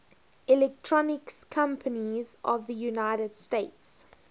electronics companies of the united states